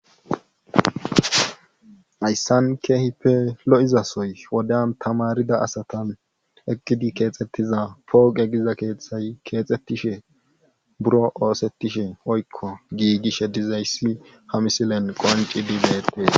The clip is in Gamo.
Hassan keehippe lo7izasoy wodiyan tamaarida asatan eqqidi keexettida pooqe giza keethay keexettishe buro osettishe woykko giigishe dizayssi ha misiliyan qonccidi beettees.